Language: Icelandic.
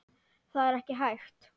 Það er ekki hægt